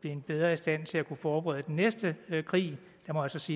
blevet bedre i stand til at kunne forberede den næste krig jeg må så sige